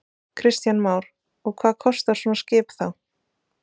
Kristján Már: Og hvað kostar svona skip þá?